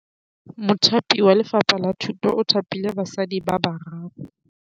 Mothapi wa Lefapha la Thutô o thapile basadi ba ba raro.